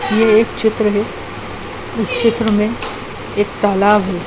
ये एक चित्र है। इस चित्र में एक तालाब है।